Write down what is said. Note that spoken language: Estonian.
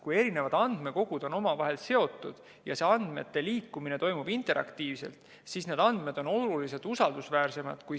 Kui andmekogud on omavahel seotud ja andmete liikumine toimub interaktiivselt, siis on andmed oluliselt usaldusväärsemad.